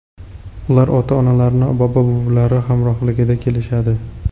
Ular ota-onalari, bobo-buvilari hamrohligida kelishadi.